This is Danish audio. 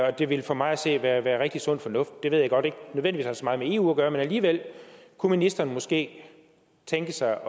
og det ville for mig at se være rigtig sund fornuft det ved jeg godt ikke nødvendigvis meget med eu at gøre men alligevel kunne ministeren måske tænke sig